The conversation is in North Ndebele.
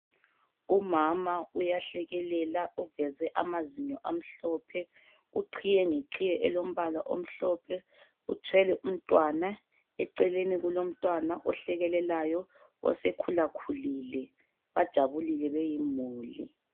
Umama uyahlekelela uveze amazinyo amhlophe. Uqhiye ngeqhiye elombala omhlophe, uthwele umntwana, eceleni kulomntwana ohlekelelayo osekhulakhulile bajabulile beyimuli.